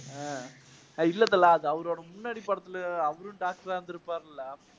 ஹம் அஹ் இல்ல தல அது அவரோட முன்னாடி படத்துல அவரும் doctor ஆ இருந்திருப்பாருல்ல